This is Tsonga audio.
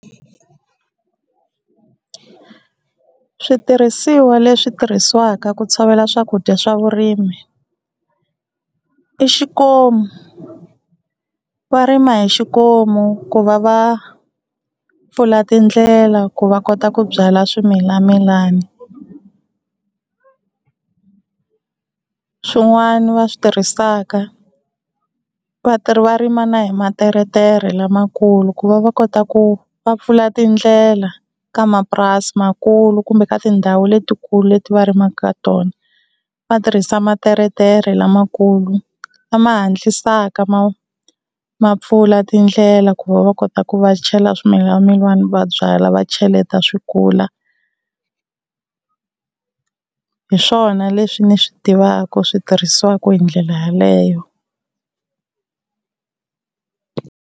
Switirhisiwa leswi tirhisiwaka ku tshovela swakudya swa vurimi i xikomu, va rima hi xikomu ku va va pfula tindlela ku va kota ku byala swimilamilani. Swin'wana va switirhisaka vatirhi va rima na hi materetere lamakulu ku va va kota ku va pfula tindlela ka mapurasi makulu kumbe ka tindhawu letikulu leti va rimaka ka tona, va tirhisa materetere lamakulu lama hatlisaka ma ma pfula tindlela ku va va kota ku va chela swimilamilani va byala va cheleta swi kula, hi swona leswi ni swi tivaka swi tirhisiwaka hi ndlela yeleyo